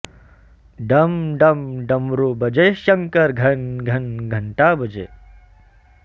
डम डम डमरू बजे शंकर घन घन घंटा बजे